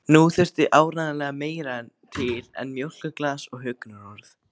Nú þurfti áreiðanlega meira til en mjólkurglas og huggunarorð.